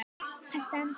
Það stendur